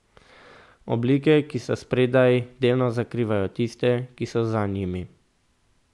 Oblike, ki so spredaj, delno zakrivajo tiste, ki so za njimi.